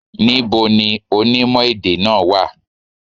Ní bo ni onímò èdè náà wà?